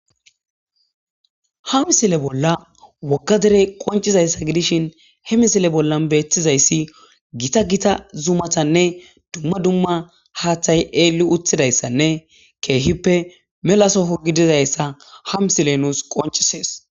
Ha misile bolla wogga derey qonccizayssa gidishin he misile bollan bettizayssa gita gita zuumatanne dumma dumma haaththay eeli uttidayssanne keehippe mela soho gidizayssa h misiley nus qonccises